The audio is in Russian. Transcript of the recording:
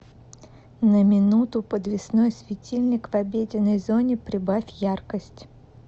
на минуту подвесной светильник в обеденной зоне прибавь яркость